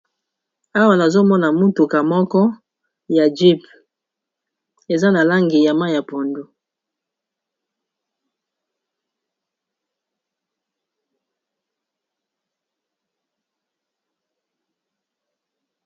Awa nazomona mutuka moko ya jeep eza na langi ya mayi ya pondu.